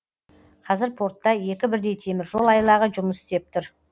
қазір портта екі бірдей теміржол айлағы жұмыс істеп тұр